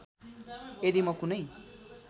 यदि म कुनै